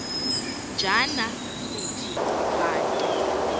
njana sithi bantu